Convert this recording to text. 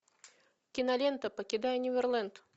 кинолента покидая неверленд